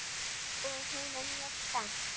Og hún er mjög spennt.